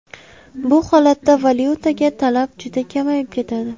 Bu holatda valyutaga talab juda kamayib ketadi.